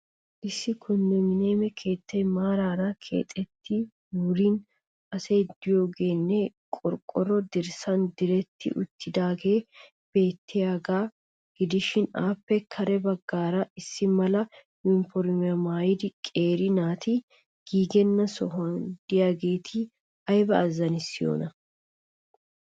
Issi konddominiyeme keettay maarara keexxetti wurin asay diyoogeenne qorqoro dirssaan diretti uttidaagee beettiyagaa gidishshiin appe kare baggaara issi mala uniformiya maayida qeeri naati giigenna sohuwan diyageeti ayba azanissiyoona.